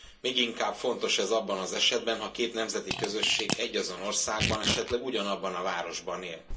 Még inkább fontos ez abban az esetben, ha két nemzeti közösség egyazon országban, esetleg ugyanabban a városban él.